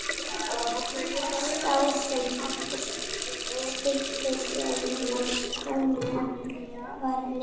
Sá sem átti stikkið sem næst komst hnöppunum vann leikinn.